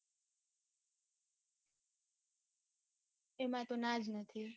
એમાં તો ના જ નથી